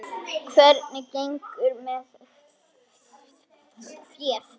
Hvernig gengur með féð?